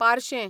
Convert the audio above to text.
पार्शें